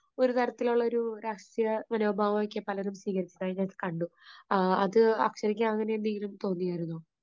ഒരു തരത്തിലുള്ള ഒരു രാഷ്ട്രീയ മനോഭാവം ഒക്കെ പലരും സ്വീകരിച്ചതായി ഞാൻ കണ്ടു. അത് അക്ഷതയ്ക്ക് അങ്ങനെ എന്തെങ്കിലും തോന്നിയായിരുന്നോ?